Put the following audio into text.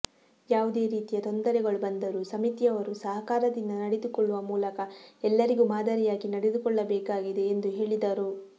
ಯಾವುದೇ ರೀತಿಯ ತೊಂದರೆಗಳು ಬಂದರೂ ಸಮಿತಿಯವರು ಸಹಕಾರದಿಂದ ನಡೆದುಕೊಳ್ಳುವ ಮೂಲಕ ಎಲ್ಲರಿಗೂ ಮಾದರಿಯಾಗಿ ನಡೆದುಕೊಳ್ಳಬೇಕಾಗಿದೆ ಎಂದು ಹೇಳಿದರು